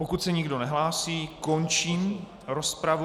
Pokud se nikdo nehlásí, končím rozpravu.